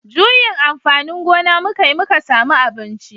Juyin amfanin gona muka yi muka samu abinci